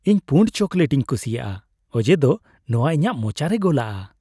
ᱤᱧ ᱯᱩᱸᱲ ᱪᱚᱠᱞᱮᱴ ᱤᱧ ᱠᱩᱥᱤᱭᱟᱜᱼᱟ ᱚᱡᱮᱫᱚ ᱱᱚᱶᱟ ᱤᱧᱟᱹᱜ ᱢᱚᱪᱟᱨᱮ ᱜᱚᱞᱟᱜᱼᱟ ᱾